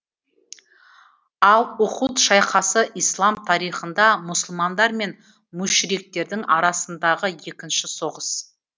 ал ухуд шайқасы ислам тарихында мұсылмандар мен мүшриктердің арасындағы екінші соғыс